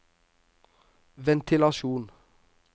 ventilasjon